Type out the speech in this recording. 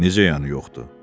Necə yəni yoxdur?